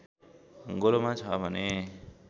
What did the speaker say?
गोलोमा छ भने